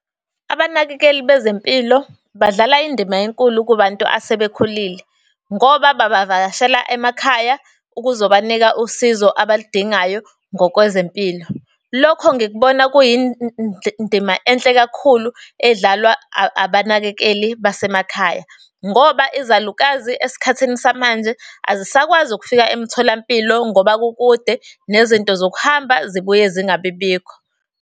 Abanakekeli bezempilo badlala indima enkulu kubantu asebekhulile, ngoba babavakashela emakhaya ukuzobanika usizo abaludingayo ngokwezempilo. Lokho ngikubona enhle kakhulu edlalwa abanakekeli basemakhaya. Ngoba izalukazi esikhathini samanje, azisakwazi ukufika emtholampilo ngoba kukude nezinto zokuhamba zibuye zingabi bikho.